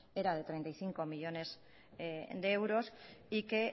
era de treinta y cinco millónes de euros y que